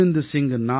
सवा लाख से एक लड़ाऊँ